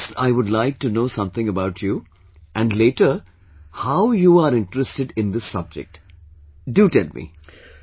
So, first I would like to know something about you and later, how you are interested in this subject, do tell me